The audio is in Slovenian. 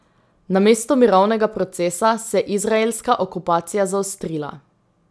Namesto mirovnega procesa se je izraelska okupacija zaostrila.